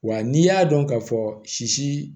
Wa n'i y'a dɔn ka fɔ sisi